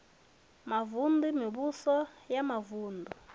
mavun ḓu mivhuso ya mavuṋdu